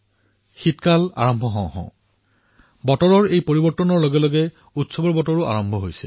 শীতকাল আৰম্ভ হৈছে আৰু বতৰ পৰিৱৰ্তনৰ লগতে উৎসৱৰ বতৰো আহিছে